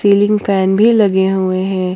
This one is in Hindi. सीलिंग फैन भी लगे हुए हैं।